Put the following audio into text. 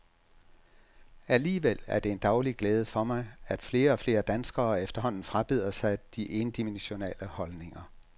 Alligevel er det en daglig glæde for mig, at flere og flere danskere efterhånden frabeder sig de endimensionale holdninger.